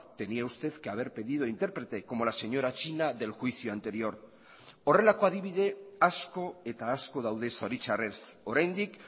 tenía usted que haber pedido intérprete como la señora china del juicio anterior horrelako adibide asko eta asko daude zoritzarrez oraindik